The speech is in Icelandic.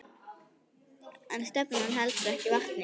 En stefnan heldur ekki vatni.